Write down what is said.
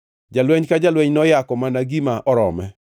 Jalweny ka jalweny noyako mana gima orome.